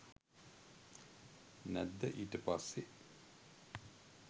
නැද්ද ඊට පස්සේ.